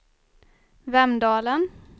Vemdalen